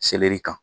kan